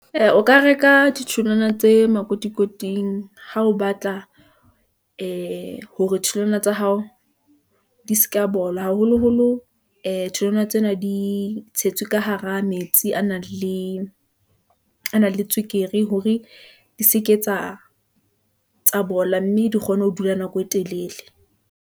Ee, o ka reka ditholwana tse makotikoting ha o batla , ee hore ditholwana tsa hao , di seka bola, haholoholo ee tholwana tsena di di tshetswe ka hara metsi a nang le tswekere hore di seke tsa bola, mme di kgone ho dula nako e telele.